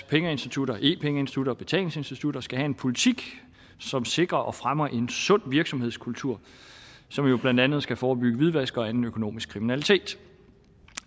pengeinstitutter e pengeinstitutter og betalingsinstitutter skal have en politik som sikrer og fremmer en sund virksomhedskultur som blandt andet skal forebygge hvidvask og anden økonomisk kriminalitet